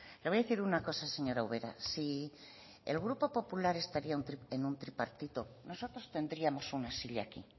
le voy a decir una cosa señora ubera si el grupo popular estuviera en un tripartito nosotros tendríamos una silla aquí